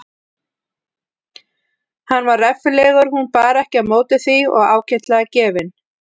Hann var reffilegur hún bar ekki á móti því og ágætlega gefinn.